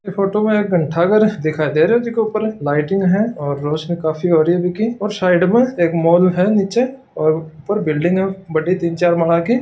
ये फोटू में एक घंटाघर दिखाई दे रहा है जिको ऊपर लाइटिंग है और रौशनी काफी होरी है और साइड में एक मॉल है निचे और ऊपर बिल्डिंग है बड़ी तीन चार माळा की --